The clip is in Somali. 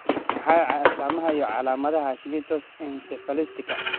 Waa maxay astaamaha iyo calaamadaha Hashimoto's encephalitiska?